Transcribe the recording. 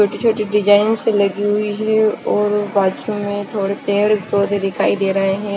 छोटी छोटी डिज़ाइनस लगी हुई है और बाथरूम में थोड़े पेड़ पौधे दिखाई दे रहे है।